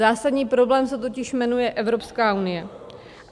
Zásadní problém se totiž jmenuje Evropská unie.